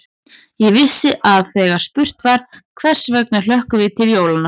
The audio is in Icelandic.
Ég vissi að þegar spurt var: hvers vegna hlökkum við til jólanna?